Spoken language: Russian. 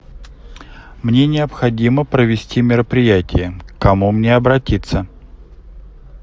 мне необходимо провести мероприятие к кому мне обратиться